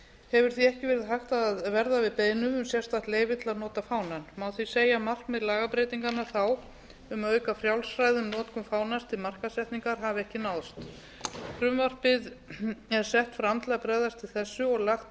hefur því ekki verið hægt að verða við beiðnum um sérstakt leyfi til að nota fánann má því segja að markmið lagabreytinganna þá um að auka frjálsræði um notkun fánans til markaðssetningar hafi ekki náðst frumvarpið er sett fram til að bregðast við þessu og lagt